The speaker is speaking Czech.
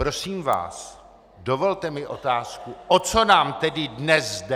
Prosím vás, dovolte mi otázku: O co nám tedy dnes jde?